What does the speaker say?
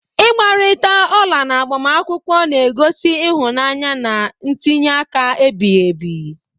Igbarita ola na agbamakwụkwọ na-egosi ịhụnanya na ntinye aka ebighị ebi..